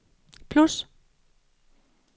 plus